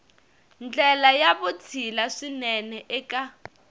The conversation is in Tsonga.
ndlela ya vutshila swinene eka